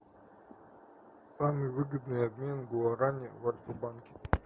самый выгодный обмен гуарани в альфа банке